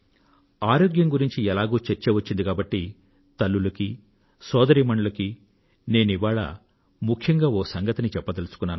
ఆరోగ్యం గురించి ఎలాగూ ఎక్కువ చర్చ వచ్చింది కాబట్టి తల్లులకూ సోదరీమణులకూ నేను ఈ వేళ ముఖ్యంగా ఒక సంగతిని చెప్పదలుచుకున్నాను